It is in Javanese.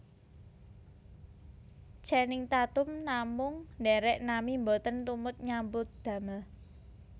Channing Tatum namung ndherek nami mboten tumut nyambut damel